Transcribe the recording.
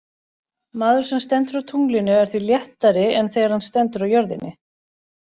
Maður sem stendur á tunglinu er því léttari en þegar hann stendur á jörðinni.